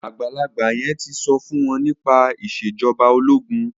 àgbàlagbà yen tí so fún wón nípa Ìṣèjọba ológun.